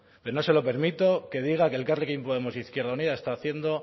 pero no se lo permito que diga que elkarrekin podemos izquierda unida está haciendo